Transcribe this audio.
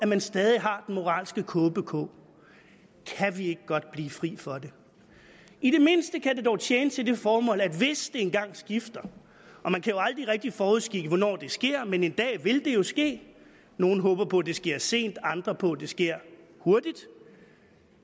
man stadig har den moralske kåbe på kan vi ikke godt blive fri for det i det mindste kan det dog tjene til det formål at vi hvis det engang skifter og man kan jo aldrig rigtig forudskikke hvornår det sker men en dag vil det jo ske nogle håber på det sker sent andre på at det sker hurtigt